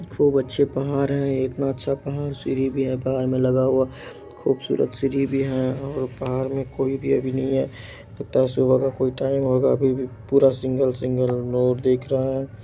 खूब अच्छे पहाड़ है इतना अच्छा पहाड़ सीढी भी है बाहर में लगा हुआ खूबसूरत सीढी भी है और पहाड़ में कोई भी अभी नहीं हैं लगता हैं सुबह का कोई टाइम होगा अभी भी पूरा सिंगल सिंगल लोग देख रहे है।